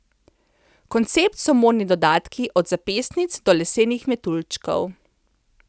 Koncept so modni dodatki, od zapestnic do lesenih metuljčkov.